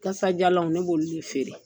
Kasajalanw ne b'ulu de feere.